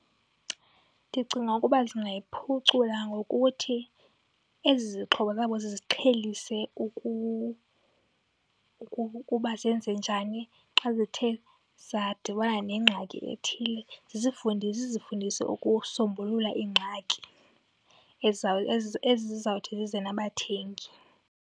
Ndicinga ukuba zingayiphucula ngokuthi ezi zixhobo zabo ziziqhelise ukuba zenze njani xa zithe zadibana nengxaki ethile. Zizifundise ukusombulula iingxaki ezizawuthi zize nabathengi.